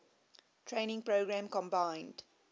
training program combined